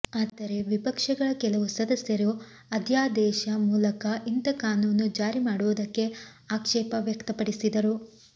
ಆದರೆ ವಿಪಕ್ಷಗಳ ಕೆಲವು ಸದಸ್ಯರು ಅಧ್ಯಾದೇಶ ಮೂಲಕ ಇಂಥ ಕಾನೂನು ಜಾರಿ ಮಾಡುವುದಕ್ಕೆ ಆಕ್ಷೇಪ ವ್ಯಕ್ತಪಡಿಸಿದರು